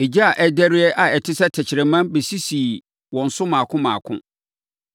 Egya a ɛrederɛ a ɛte sɛ tɛkrɛma bɛsisii wɔn so mmaako mmaako.